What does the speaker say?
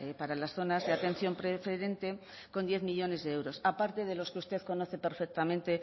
para las zonas de atención preferente con diez millónes de euros aparte de los que usted conoce perfectamente